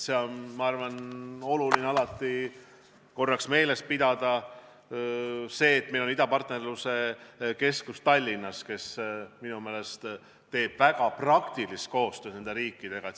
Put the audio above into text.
Oluline on meeles pidada, et Tallinnas on idapartnerluse keskus, mis minu meelest teeb väga praktilist koostööd nende riikidega.